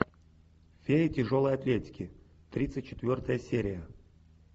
фея тяжелой атлетики тридцать четвертая серия